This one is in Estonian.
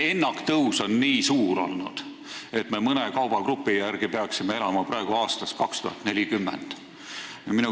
Ennaktõus on aga nii suur olnud, et me mõne kaubagrupi järgi otsustades peaksime elama praegu aastas 2040.